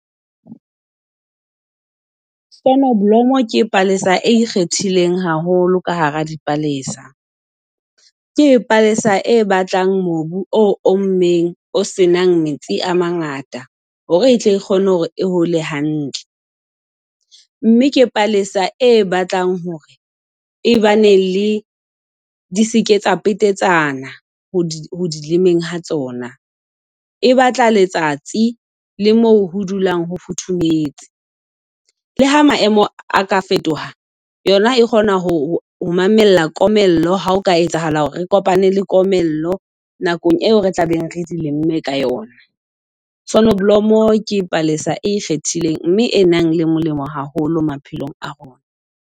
Sonoblomo ke palesa e ikgethileng haholo ka hara dipalesa. Ke palesa e batlang mobu o ommeng o senang metsi a mangata ho re e tle e kgone ho re e hole hantle. Mme ke palesa e batlang hore e ba ne le di seke tsa petetsana ho di ho di lemeng ha tsona. E batla letsatsi le moo ho dulang ho futhumetse. Le ha maemo a ka fetoha, yona e kgona ho ho mamella komello ha o ka etsahala hore re kopane le komello nakong eo re tlabeng re di lemme ka yona. Sonoblomo ke palesa e ikgethileng mme e nang le molemo haholo maphelong a rona.